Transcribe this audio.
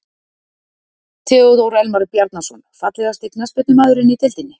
Theodór Elmar Bjarnason Fallegasti knattspyrnumaðurinn í deildinni?